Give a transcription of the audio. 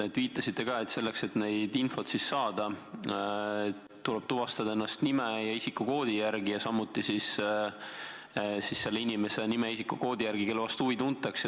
Te viitasite ka, et info saamiseks tuleb tuvastada ennast nime ja isikukoodi järgi ning samuti selle inimese nime ja isikukoodi järgi, kelle vastu huvi tuntakse.